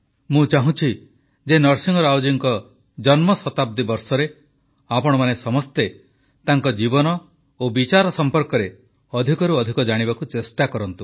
ମୁଁ ଚାହୁଁଛି ଯେ ନରସିଂହ ରାଓ ଜୀଙ୍କ ଜନ୍ମଶତାବ୍ଦୀ ବର୍ଷରେ ଆପଣମାନେ ସମସ୍ତେ ତାଙ୍କ ଜୀବନ ଓ ବିଚାର ସମ୍ପର୍କରେ ଅଧିକରୁ ଅଧିକ ଜାଣିବାକୁ ଚେଷ୍ଟା କରନ୍ତୁ